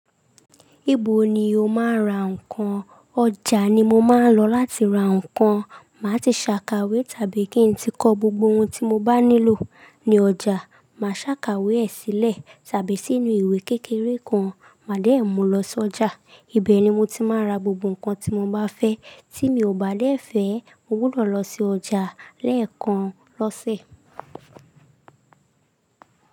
Níbo ni o máa ń ra nǹkan? Ọjà ni mo máa ń lọ láti ra nǹkan. Máa ti ṣàkàwé tàbí kí n tí kọ gbogbo ohun tí mo bá nílò ní ọjà, máa ṣàkàwé ẹ̀ sílẹ̀ tàbí sínú ìwé kékeré kan. Màá dẹ̀ mú lọ sọjà, ibẹ̀ ni mo ti máa ra gbogbo nǹkan tí mo bá fẹ́. Tí mi ò bá dẹ̀ fẹ́, mo gbúdọ̀ lọ sí ọjà lẹ́ẹ̀kan lọ́sẹ̀.